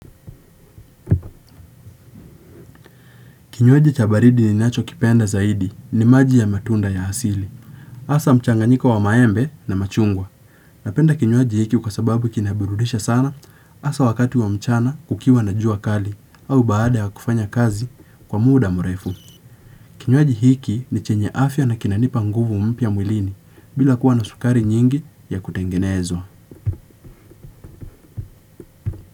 Kinywaji cha baridi ninacho kipenda zaidi ni maji ya matunda ya asili. Hasa mchanganyiko wa maembe na machungwa. Napenda kinywaji hiki kwasababu kinaburudisha sana hasaa wakati wa mchana kukiwa na jua kali au baada ya kufanya kazi kwa muda mrefu. Kinywaji hiki ni chenye afya na kinanipa nguvu mpya mwilini bila kuwa na sukari nyingi ya kutengenezwa.